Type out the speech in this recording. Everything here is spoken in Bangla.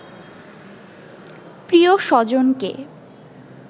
প্রিয় স্বজনকে